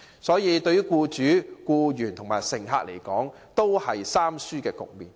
這對僱主、僱員和乘客，都是"三輸"的局面。